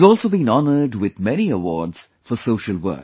He has also been honoured with many awards for social work